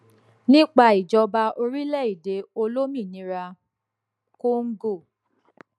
nípa ìjọba orílẹèdè olómìnira congo